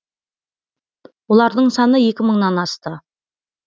олардың саны екі мыңнан асты